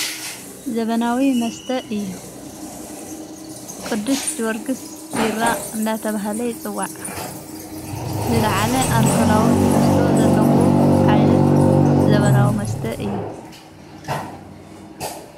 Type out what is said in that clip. ዘበናዊ መስተ እዩ ቅዱስ ጀወርግሥ ቢራ እናተብሃለ ይጽዋዕ ዝለዓለ ኣልከላዊ ተሕዝቶ ዘለዎ ዓይነት ዘበናዊ መስተ እዩ::